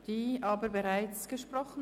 Diese hat aber bereits gesprochen.